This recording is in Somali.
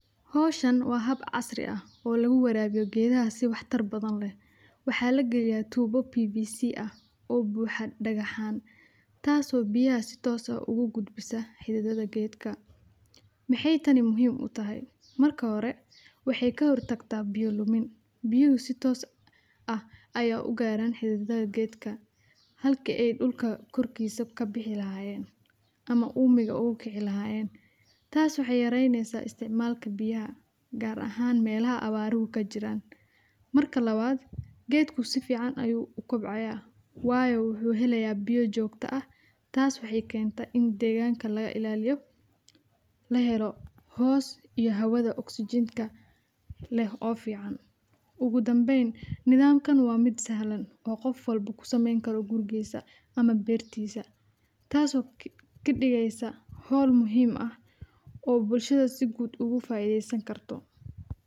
Hawshan waa hab casri ah oo lagu waraabiyo geeda si waxtar badan leh. Waxaa la geliyaa tuubo PVC ah oo buxa dhagaxaan, taasoo biyaha sitoosa ugu gudbisa xidadada geedka. Maxay tani muhiim u tahay? Marka hore, waxey ka hor tagtaa biyo-lumin. Biyuhu sitoos ah ayaa u gaaran xidadada geedka halkii aid ulka korkiisa ka bixi lahaayeen ama uumiga ugu kixi lahaayeen. Taas waxay yaraynaysaa isticmaalka biyaha gaar ahaan meelaha abbaaru ku jira. Marka lawaad, geedku si fiican ayuu u kobcaya Waayo wuxuu helayaa biyo joogto ah. Taas waxay keenta in deegaanka laga ilaaliyo lahero hoos iyo hawada oxygen ka leh. Oo fiican ugu danbeyn, nidaamkan waa mid sahlan oo qof walbo ku samayn karo gurigisa ama beertiisa. Taasoo ka dhigaysa hol muhiim ah oo bulshada si guud ugu faaiideysan karto.